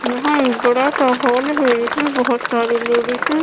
यहाँ एक बड़ा सा हॉल है इसमें बहुत सारी लेडीसें --